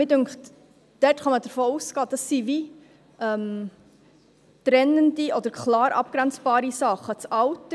Mich dünkt, dort könne man davon ausgehen, dass es wie trennende oder klar abgrenzbare Sachen sind.